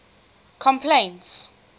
complaints